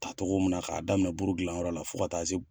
ta togo min na k'a daminɛ buru gilan yɔrɔ la fo ka taa se